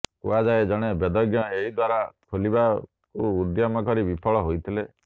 କୁହାଯାଏ ଜଣେ ବେଦଜ୍ଞ ଏହି ଦ୍ୱାର ଖୋଲିବାକୁ ଉଦ୍ୟମ କରି ବିଫଳ ହୋଇଥିଲେ